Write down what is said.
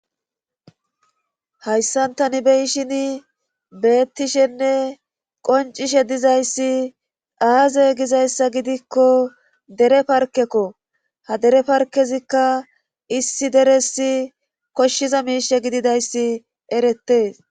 hayssan tani beyishin beettishenne qoncishe dizayssi aazey gizayssa gidikko dere parkekko ha dere parkezikka issi deresi koshshiza miishe gididayssi erettees